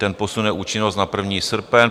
Ten posune účinnost na 1. srpen.